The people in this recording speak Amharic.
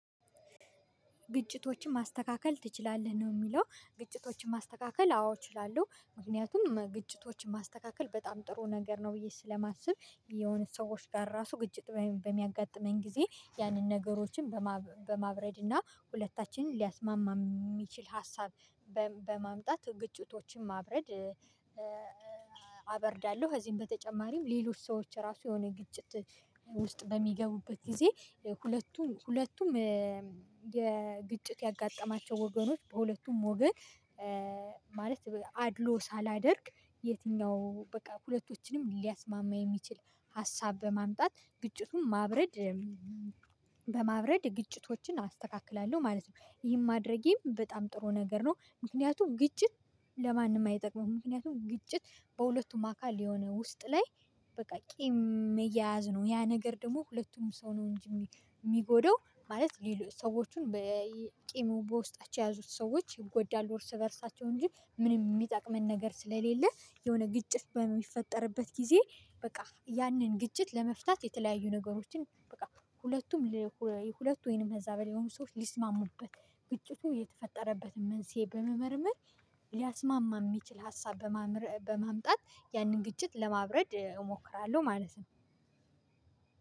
ግጭቶችን ማስተካከል ትችላለህ ነው? የሚለው ግጭቶችን ማስተካከል አዎ እችላለሁ ምክንያቱም ግጭቶችን ማስተካከል በጣም ጥሩ ነገር ነው። ብዬ ስለማስብ የሆኑ ሰዎች ጋር ራሱ ግጭት በሚያጋጥመኝ ጊዜ ያንን ነገሮችን በማብረድ እና ሁለታችንን ሊያስማማ የሚችል ሀሳብ በ በማምጣት ግጭቶችን ማብረድ። አበርዳለሁ። ከዚህም በተጨማሪም ሌሎች ሰዎች ራሱ የሆነ ግጭት ውስጥ በሚገቡበት ጊዜ። ሁለቱም ሁለቱም የግጭት ያጋጠማቸው ወገኖች በሁለቱም ወገን ማለት አድሎ ሳላደርግ የትኛው በቃ ሁለቶችንም ሊያስማማ የሚችል ሀሳብ በማምጣት ግጭቱን ማብረድ። በማብረድ ግጭቶችን አስተካክላለሁ ማለት ነው። ይሄን ማድረጌም በጣም ጥሩ ነገር ነው። ምክንያቱም ግጭት ለማንም አይጠቅመውም ምክንያቱም ግጭት በሁለቱም አካል የሆነ ውስጥ ላይ በቃ ቂም መየያዝ ነው። ያ ነገር ደግሞ ሁለቱም ሰው ነው እንጂ የሚጎዳው ማለት ሌሎች ሰዎችን በቂሙ በውስጣቸው የያዙት ሰዎች ይጎዳሉ። እርስ በእርሳቸው እንጂ ምን የሚጠቅመን ነገር ስለሌለ የሆነ ግጭት በሚፈጠርበት ጊዜ። በቃ ያንን ግጭት ለመፍታት የተለያዩ ነገሮችን በቃ ሁለቱም ለሁለቱም ወይንም ከዛ በላይ የሆኑ ሰዎች ሊስማሙበት ግጭቱ የተፈጠረበትን መንስኤ በመመርመር ሊያስማማ የሚችል ሀሳብ በማምጣት ያንን ግጭት ለማብረድ እሞክራለሁ። ማለት ነው።